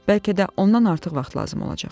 bəlkə də ondan artıq vaxt lazım olacaq.